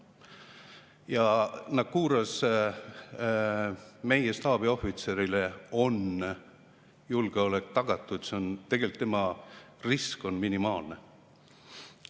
Ja Naqouras on meie staabiohvitseri julgeolek tagatud, tegelikult tema risk on minimaalne.